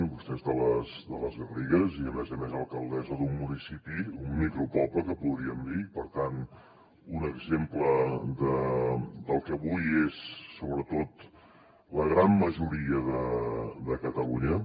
vostè és de les garrigues i a més a més alcaldessa d’un municipi un micropoble que en podríem dir per tant un exemple del que avui és sobretot la gran majoria de catalunya